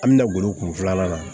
An bɛna glo kun filanan na